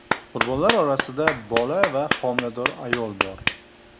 Qurbonlar orasida bola va homilador ayol bor.